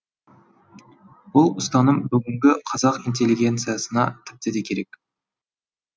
бұл ұстаным бүгінгі қазақ интеллигенциясына тіпті де керек